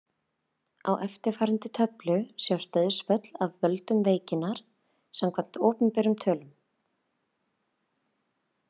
Í eftirfarandi töflu sjást dauðsföll af völdum veikinnar samkvæmt opinberum tölum.